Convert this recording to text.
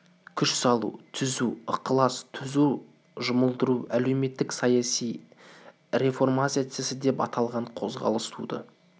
күш салу түзу ықылас түзу жұмылдыру әлеуметтік саяси реформация деп аталған қозғалыс туды